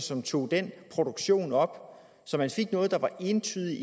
som tog den produktion op så man fik noget der entydigt